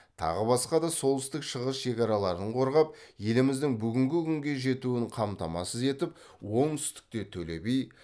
тағы басқа да солтүстік шығыс шекараларын қорғап еліміздің бүгінгі күнге жетуін қамтамасыз етіп оңтүстікте төле би